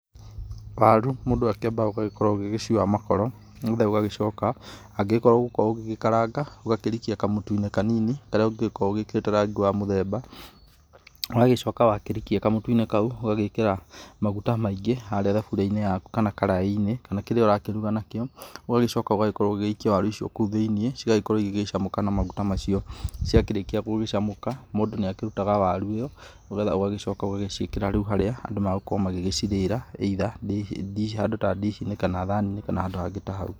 Waru mũndũ akĩambaga ũgagĩkorwo ũgĩciũa makoro, nĩgetha ũgagĩcoka angĩgĩkorwo ũgũgĩkorũo ũgĩkaranga ũgakĩrikia kamũtu-inĩ kanini karĩa ũngĩgĩkorũo ũgĩkĩrĩte rangi wa mũthemba. Ũgagĩcoka wakĩrikia kamũtu-inĩ kau ũgagĩkĩra maguta maingĩ harĩa thaburia-inĩ yaku, kana karaĩ-inĩ, kana kĩrĩa ũrakĩruga nakĩo. Ũgagĩcoka ũgagĩkorũo ũgĩgĩikia waru icio kũu thĩiniĩ igagĩkorũo igĩcamũka na maguta macio. Cia kĩrĩkia gũgĩcamũka mũndũ nĩ akĩrutaga waru ĩyo nĩgetha ũgagĩcoka ũgagĩciĩkĩra rĩu harĩa andũ magũgĩkorũo magĩcirĩraa, either i handũ ta dish-inĩ kana thani-inĩ kana handũ hangĩ ta hau.